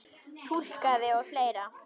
Túlkaði og fleira.